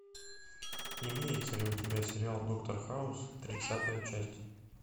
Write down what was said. имеется ли у тебя сериал доктор хаус тридцатая часть